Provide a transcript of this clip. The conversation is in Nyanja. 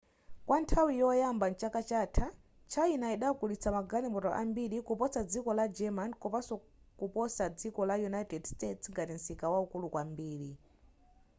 kwa nthawi yoyamba chaka chatha china idagulitsa magalimoto ambiri kuposa dziko la germany komanso kuposa dziko la united states ngati msika waukulu kwambiri